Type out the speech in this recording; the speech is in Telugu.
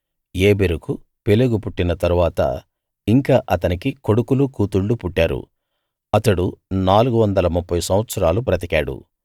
ఏబెరుకు పెలెగు పుట్టిన తరువాత ఇంకా అతనికి కొడుకులు కూతుళ్ళు పుట్టారు అతడు నాలుగు వందల ముప్ఫైసంవత్సరాలు బతికాడు